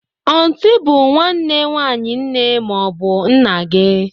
Ọntị bụ nwanne nwaanyị nne ma ọ bụ nna gị.